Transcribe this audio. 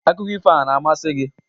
Akụkọ ifo a na-amasị gị?